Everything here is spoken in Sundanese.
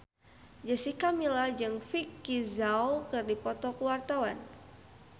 Jessica Milla jeung Vicki Zao keur dipoto ku wartawan